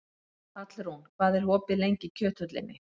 Hallrún, hvað er opið lengi í Kjöthöllinni?